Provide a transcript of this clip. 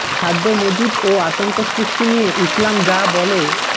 খাদ্য মজুত ও আতঙ্ক সৃষ্টি নিয়ে ইসলাম যা বলে